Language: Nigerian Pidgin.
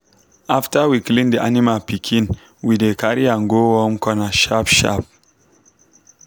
after we clean the animal pikin we dey carry am go warm corner sharp sharp.